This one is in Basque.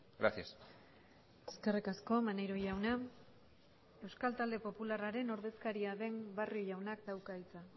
gracias eskerrik asko maneiro jauna euskal talde popularraren ordezkaria den barrio jaunak dauka hitza